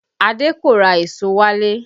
Adé kò ra èso wálé